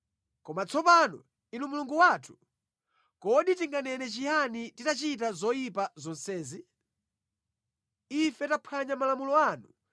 “Koma tsopano, Inu Mulungu wathu, kodi tinganene chiyani titachita zoyipa zonsezi? Ife taphwanya malamulo anu